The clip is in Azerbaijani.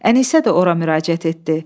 Ənisə də ora müraciət etdi.